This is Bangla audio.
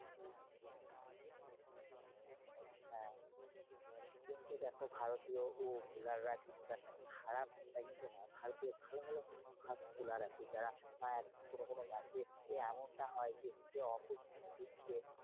হ্যাঁ কিন্তু দেখো ভারতীয় bowler রা একটা খারাপ সেটা কিন্তু নয়। ভারতীয় ভালো ভালো first bowler আছে। যারা কোনো কোনো match এ এমনটা হয় যে